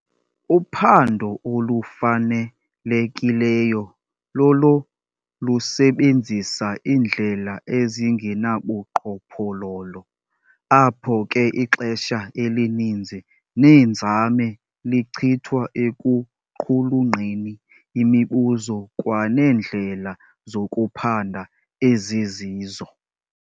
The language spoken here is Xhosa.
Uphando olufanelekileyo lolo lusebenzisa indlela ezingenabuqhophololo, apho ke ixesha elininzi neenzame lichithwa ekuqhulunqeni imibuzo kwaneendlela zokuphanda ezizizo.